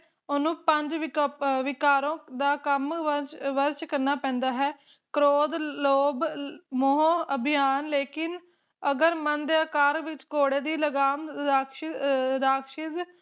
ਓਹਨੂੰ ਪੰਜ ਵਿਕ ਵਿਕਾਰਾਂ ਦਾ ਕੰਮ ਵਰਜ ਵਰਜ ਕਰਨਾ ਪੈਂਦਾ ਹੈ ਕ੍ਰੋਧ ਲੋਭ ਮੋਹ ਅਭਿਆਨ ਲੇਕਿਨ ਅਗਰ ਮਨ ਦੇ ਆਕਾਰ ਵਿਚ ਘੋੜੇ ਦੀ ਲਗਾਮ ਰਾਕਸ਼ ਰਾਕਸ਼ਸ਼